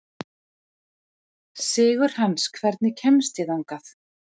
Sigurhans, hvernig kemst ég þangað?